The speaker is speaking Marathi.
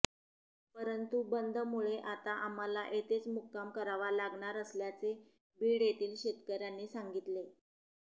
परंतु बंदमुळे आता आम्हाला येथेच मुक्काम करावा लागणार असल्याचे बीड येथील शेतकर्यांनी सांगितले